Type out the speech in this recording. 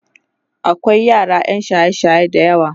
akwai yara ƴan shaye shaye da yawa